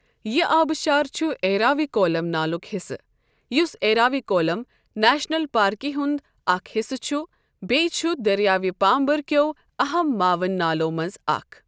یہٕ آبٕشار چُھ ایراوِکولَم نالٗك حِصہٕ، یُس ایراوِکولَم نیٛشنَل پارکہِ ہُنٛد اَکھ حِصہٕ چُھ بیٚیہِ چُھ دٔریاوِ پامبرٕٗكیو أہم معاوِن نالٕوٛ مَنٛز اَکھ۔۔